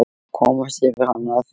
Komast yfir hana að fullu?